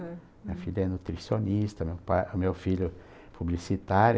Minha filha é nutricionista, meu pai, meu filho é publicitário.